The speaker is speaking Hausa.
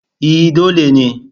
E, dole ne.